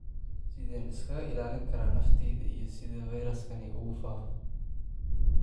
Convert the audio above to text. Sideen iskaga ilaalin karaa naftayda iyo sidee fayraskani u faafo?